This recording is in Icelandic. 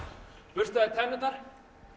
burstaði tennurnar